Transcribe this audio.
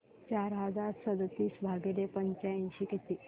चार हजार सदतीस भागिले पंच्याऐंशी किती